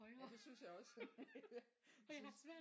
Ja det synes jeg også jeg synes